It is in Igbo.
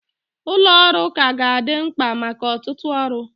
Ụlọ ọrụ ka ga-adị mkpa maka ọtụtụ ọrụ